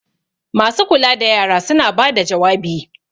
masu kula da yara sun bada jawabi!